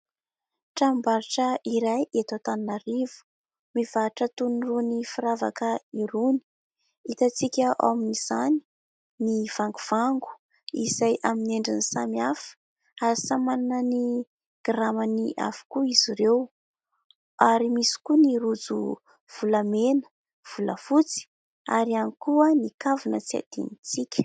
Tranombarotra iray eto Antananarivo mivarotra tony irony firavaka irony, hitantsika ao amin'izany ny vangovango izay amin'ny endriny samihafa ary samy manana ny gramany avokoa izy ireo, ary misy koa ny rojo volamena, volafotsy ary ihany koa ny kavina tsy hadinontsika.